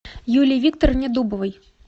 юлии викторовне дубовой